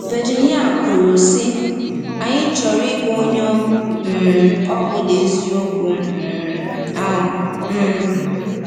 Virginia kwuru, sị: “Anyị chọrọ ịgwa onye um ọ bụla eziokwu um ahụ.” um